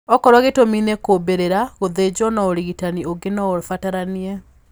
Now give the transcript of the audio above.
Okorwo gĩtũmi ni kuumbĩrĩra, gũthĩnjwo na ũrigitani ũngĩ no ũbataranie.